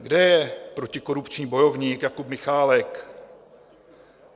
Kde je protikorupční bojovník Jakub Michálek?